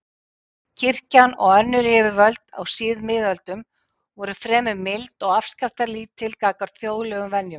Kirkjan og önnur yfirvöld á síðmiðöldum voru fremur mild og afskiptalítil gagnvart þjóðlegum venjum.